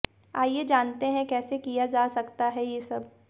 आइए जानते हैं कैसे किया जा सकता है ये सब